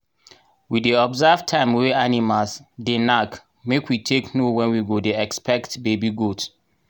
we dey observe time wey animals dey knack make we take know wen we go dey expect baby goat.